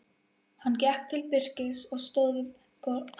Hann gekk til Birkis og stóð við borðið andspænis honum.